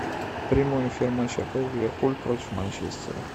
прямой эфир матча апл ливерпуль против манчестера